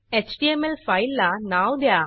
HTML फाईलला नाव द्या